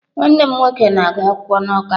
Nwanne m nwoke na-agu akwukwo na Awka